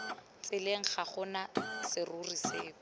tseleng ga gona serori sepe